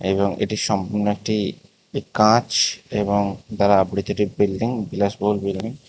এবং এটি সম্পূর্ণ একটি কাঁচ এবং দ্বারা আবৃত একটি বিল্ডিং বিলাসবহুল বিল্ডিং ।